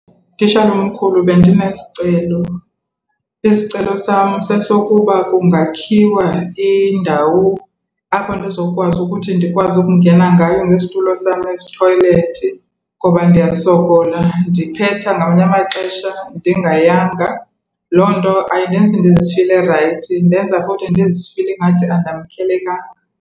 Tishala omkhulu, bendinesicelo. Isicelo sam sesokuba kungakhiwa indawo apho ndizokwazi ukuthi ndikwazi ukungena ngayo ngesitulo sam ezithoyilethi ngoba ndiyasokola, ndiphetha ngamanye amaxesha ndingayanga. Loo nto ayindenzi ndizifile rayithi, indenza ukuthi ndizifile ingathi andamkelekanga.